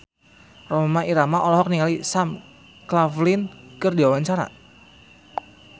Rhoma Irama olohok ningali Sam Claflin keur diwawancara